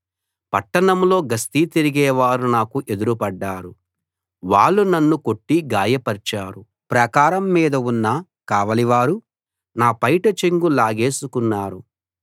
పట్టణంలో గస్తీ తిరిగేవారు నాకు ఎదురుపడ్డారు వాళ్ళు నన్ను కొట్టి గాయపర్చారు ప్రాకారం మీద ఉన్న కావలివారు నా పైట చెంగు లాగేసుకున్నారు